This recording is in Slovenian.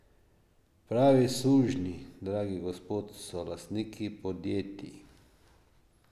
Pravi sužnji, dragi gospod, so lastniki podjetij.